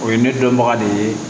O ye ne dɔnbaga de ye